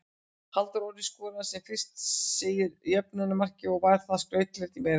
Halldór Orri skoraði sem fyrr segir jöfnunarmarkið og var það skrautlegt í meira lagi.